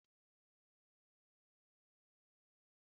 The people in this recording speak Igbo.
Ilu na-akụziri ụmụaka ọtụtụ ihe